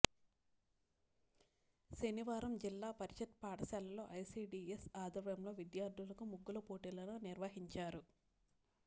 శనివారం జిల్లా పరిషత్ పాఠశాలలో ఐసీడీఎస్ ఆధ్వర్యంలో విద్యార్థులకు ముగ్గుల పోటీలను నిర్వహించారు